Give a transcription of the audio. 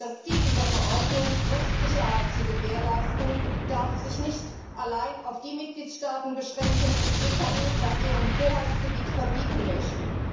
Das Ziel dieser Verordnung, Rechtsicherheit zu gewährleisten, darf sich nicht allein auf die Mitgliedstaaten beschränken, die GVO auf ihrem Hoheitsgebiet verbieten möchten.